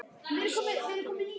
Hann segir ekki neitt.